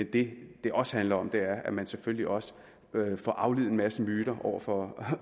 det det også handler om er at man selvfølgelig også får aflivet en masse myter over for